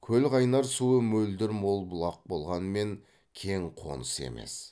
көлқайнар суы мөлдір мол бұлақ болғанмен кең қоныс емес